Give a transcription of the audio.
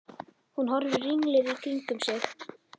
Hún horfir ringluð í kringum sig.